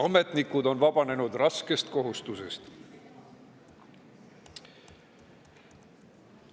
Ametnikud on vabanenud raskest kohustusest.